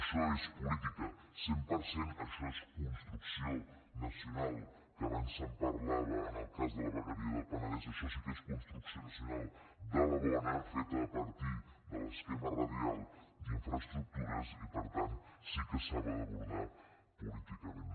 això és política cent per cent això és construcció nacional que abans se’n parlava en el cas de la vegueria del penedès això sí que és construcció nacional de la bona feta a partir de l’esquema radial d’infraestructures i per tant sí que s’ha d’abordar políticament